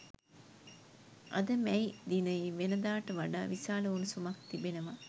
අද මැයි දිනයේ වෙනදාට වඩා විශාල උණුසුමක් තිබෙනවා